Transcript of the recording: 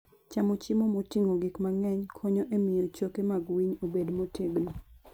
Chamo chiemo moting'o gik mang'eny konyo e miyo choke mag winy obed motegno.